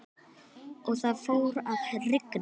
Og það fór að rigna.